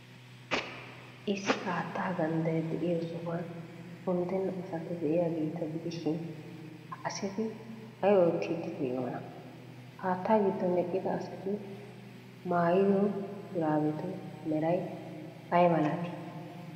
Issi haattaa gandday de'iyo sohuwan unddenna asati de'iyaageeta gidishin, ha asati ay oottiiddi de'iyoonaa? Haattaa giddon eqqida asati maayido shuraabetu meray ay malatii?